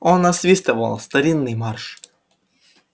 он насвистывал старинный марш